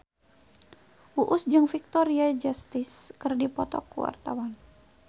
Uus jeung Victoria Justice keur dipoto ku wartawan